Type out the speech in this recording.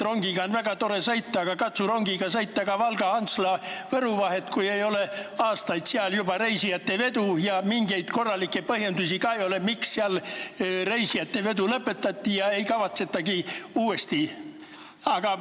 Rongiga on väga tore sõita, aga eks sa katsu rongiga sõita Valga, Antsla või Võru vahet, kui seal ei ole juba aastaid olnud reisijavedu ja mingeid korralikke põhjendusi ka ei ole, miks seal reisijavedu lõpetati ega kavatsetagi seda uuesti alustada.